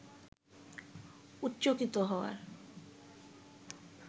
উচ্চকিত হওয়ার